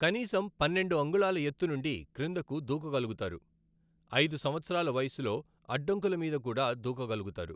కనీసం పన్నెండు అంగుళాల ఎత్తు నుండి క్రిందకు దూకగలుగుతారు, అయిదు సంవత్సరాల వయసులో అడ్డంకుల విూద కూడ దూకగలుగుతారు.